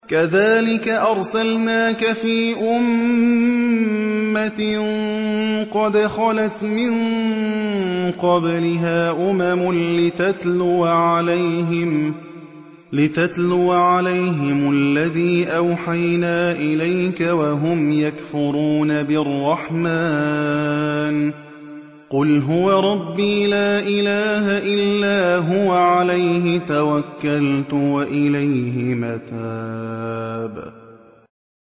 كَذَٰلِكَ أَرْسَلْنَاكَ فِي أُمَّةٍ قَدْ خَلَتْ مِن قَبْلِهَا أُمَمٌ لِّتَتْلُوَ عَلَيْهِمُ الَّذِي أَوْحَيْنَا إِلَيْكَ وَهُمْ يَكْفُرُونَ بِالرَّحْمَٰنِ ۚ قُلْ هُوَ رَبِّي لَا إِلَٰهَ إِلَّا هُوَ عَلَيْهِ تَوَكَّلْتُ وَإِلَيْهِ مَتَابِ